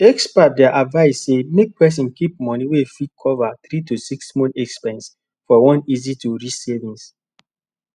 experts dey advise say make person keep money wey fit cover 3 to 6 months expense for one easytoreach savings